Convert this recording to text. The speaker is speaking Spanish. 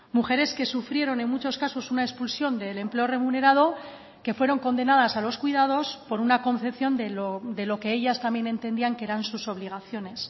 mujeres que sufrieron en muchos casos una expulsión del empleo remunerado que fueron condenadas a los cuidados por una concepción de lo que ellas también entendían que eran sus obligaciones